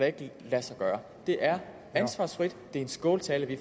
ikke lade sig gøre det er ansvarsfrit det er en skåltale vi